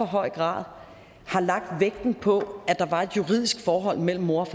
høj grad har lagt vægten på at der var et juridisk forhold mellem moren